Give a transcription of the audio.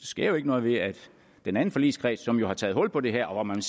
sker jo ikke noget ved at den anden forligskreds som jo har taget hul på det her og hvor man